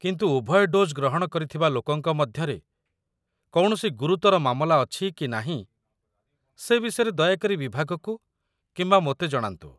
କିନ୍ତୁ ଉଭୟ ଡୋଜ୍ ଗ୍ରହଣ କରିଥିବା ଲୋକଙ୍କ ମଧ୍ୟରେ କୌଣସି ଗୁରୁତର ମାମଲା ଅଛି କି ନାହିଁ ସେ ବିଷୟରେ ଦୟାକରି ବିଭାଗକୁ କିମ୍ବା ମୋତେ ଜଣାନ୍ତୁ।